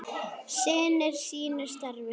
Sinnir sínu starfi.